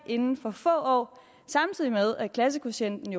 inden for få år samtidig med at klassekvotienten